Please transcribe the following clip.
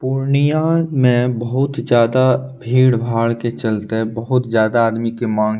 पूर्णया में बहुत ज्यादा भीड़-भाड़ के चलते बहुत ज्यादा आदमी के मांग --